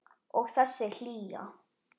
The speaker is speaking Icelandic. Og þessi hlýja.